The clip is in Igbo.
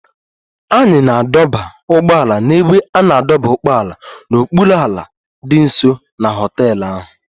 Anyị na-adọba ụgbọala n'ebe a na-adọba ụgbọala n'okpuru ala dị nso na họtel ahụ